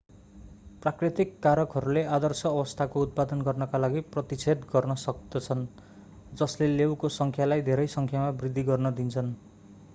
प्राकृतिक कारकहरूले आदर्श अवस्थाको उत्पादन गर्नका लागि प्रतिच्छेद गर्न सक्दछन् जसले लेउको संख्यालाई धेरै संख्यामा वृद्धि गर्न दिन्छन्